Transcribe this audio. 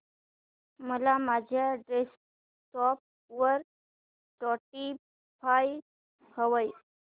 मला माझ्या डेस्कटॉप वर स्पॉटीफाय हवंय